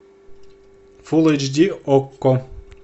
фулл эйч ди окко